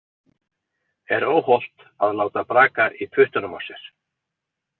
Er óhollt að láta braka í puttunum á sér?